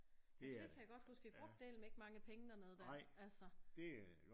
Ja for det kan jeg godt huske vi brugte dælme ikke mange penge dernede der altså